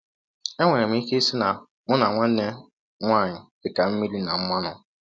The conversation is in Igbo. “ Enwere m ike ịsị na mụ na nwanne m nwaanyị dị ka mmịrị na mmanụ.